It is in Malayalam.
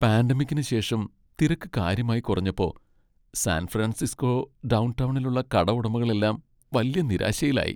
പാന്റമിക്കിനുശേഷം തിരക്ക് കാര്യമായി കുറഞ്ഞപ്പോ, സാൻ ഫ്രാൻസിസ്കോ ഡൗൺ ടൗണിലുള്ള കടഉടമകളെല്ലാം വല്യ നിരാശയിലായി.